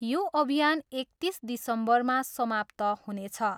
यो अभियान एकतिस दिसम्बरमा समाप्त हुनेछ।